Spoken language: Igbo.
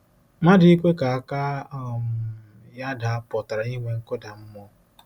Mmadụ ikwe ka aka um ya daa pụtara inwe nkụda mmụọ.